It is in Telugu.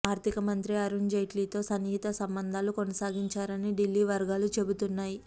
ఆర్థిక మంత్రి అరుణ్ జైట్లీతో సన్నిహిత సంబంధాలు కొనసాగించారని ఢిల్లీ వర్గాలు చెబుతున్నాయి